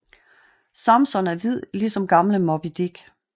Samson er hvid ligesom gamle Moby Dick